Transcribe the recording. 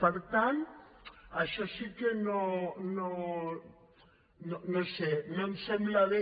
per tant això sí que no ho sé no em sembla bé